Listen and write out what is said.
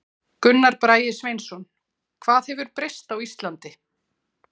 Gunnar Bragi Sveinsson: Hvað hefur breyst á Íslandi?